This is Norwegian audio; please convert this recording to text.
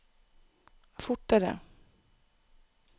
fortere